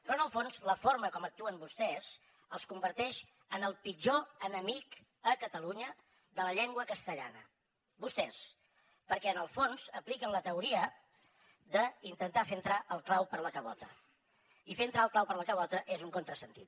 però en el fons la forma com actuen vostès els converteix en el pitjor enemic a catalunya de la llengua castellana vostès perquè en el fons apliquen la teoria d’intentar fer entrar el clau per la cabota i fer entrar el clau per la cabota és un contrasentit